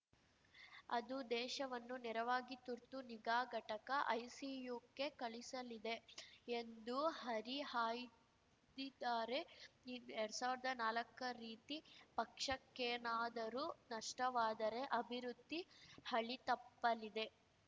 ಅದು ದೇಶವನ್ನು ನೇರವಾಗಿ ತುರ್ತು ನಿಗಾ ಘಟಕ ಐಸಿಯುಕ್ಕೆ ಕಳುಹಿಸಲಿದೆ ಎಂದು ಹರಿಹಾಯ್ದಿದ್ದಾರೆ ಎರಡ್ ಸಾವಿರ್ದಾ ನಾಲಕ್ಕ ರೀತಿ ಪಕ್ಷಕ್ಕೇನಾದರೂ ನಷ್ಟವಾದರೆ ಅಭಿವೃದ್ಧಿ ಹಳಿತಪ್ಪಲಿದೆ